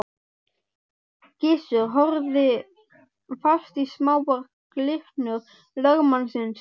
Gizur horfði fast í smáar glyrnur lögmannsins.